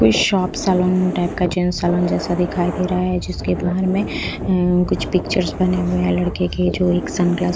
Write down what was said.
कोई shop salon type का gents salon जैसा दिखाई दे रहा है जिसके बाहर में कुछ पिक्चर्स बने हुए हैं लड़के के जो एक सनग्लास --